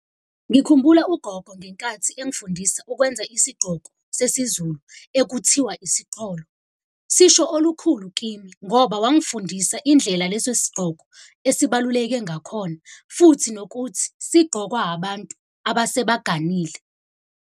Ngikhumbula ugogo ngenkathi engifundise ukwenza isigqoko sesizulu ekuthiwa esiqholo. Sisho olukhulu kimi ngoba wangifundisa indlela leso sigqoko esibaluleke ngakhona, futhi nokuthi sigqokwa abantu abasebaganile.